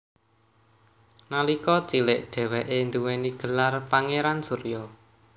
Nalika cilik dheweke duwéni gelar Pangeran Surya